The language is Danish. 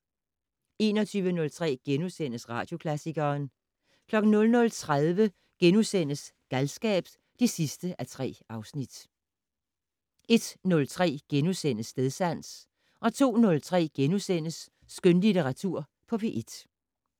21:03: Radioklassikeren * 00:30: Galskab (3:3)* 01:03: Stedsans * 02:03: Skønlitteratur på P1 *